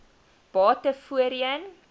bate voorheen